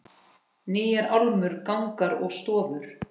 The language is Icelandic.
Nýjar álmur, gangar og stofur.